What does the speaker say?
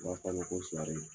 ko sɔrɔlen don